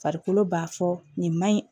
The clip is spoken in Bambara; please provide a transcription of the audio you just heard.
Farikolo b'a fɔ nin ma ɲi